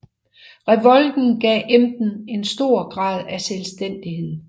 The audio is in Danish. Revolten gav Emden en stor grad af selvstændighed